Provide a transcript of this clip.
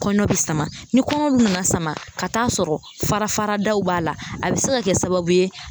Kɔnɔ bɛ sama ni kɔnɔw dun nana sama ka taa sɔrɔ farafaradaw b'a la a bɛ se ka kɛ sababu ye.